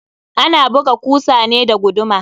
Ana buga kusa ne da guduma.